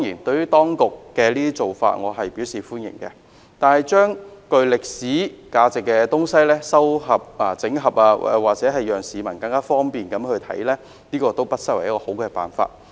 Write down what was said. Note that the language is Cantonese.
對於當局的做法，我表示歡迎，把具歷史價值的文物整合，方便市民參觀，不失為一個好辦法。